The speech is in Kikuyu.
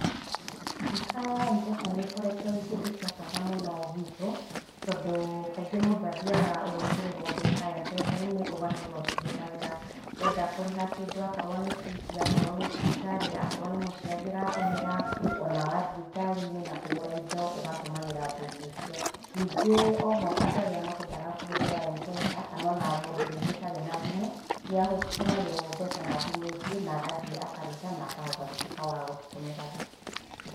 Duka ya Mpesa nĩkoretwo ĩrĩ kĩndũ gĩa bata mũno gwitũ tondũ kaingĩ mũndũ athiaga ũgekĩrĩrwo mbeca Mpesa-inĩ ũgatũra ũcihũthagĩra wenda kũrĩha kĩndũ akorwo nĩ bithi akorwo nĩ thibitarĩ akorwo nĩ mũciari ũratũmĩra ona wathiĩ ngari-inĩ na kũgũra indo ũgatũmagĩra mbeca icio, ningĩ o ho andũ arĩa matendaga kũhũthĩra Mpesakana ona mũndũ rĩngĩ ũtarĩ na thimũ nĩ atũmagĩrwo mbeca na thimũ ingĩ na gathiĩ akaruta na kahota gũtuĩka wa gũcitũmĩraga.